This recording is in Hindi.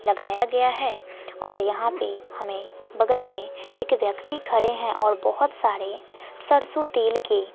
लगाया गया है और यहां पे हमें बगल में एक व्यक्ति खड़े हैं और बहोत सारे सरसों तेल के--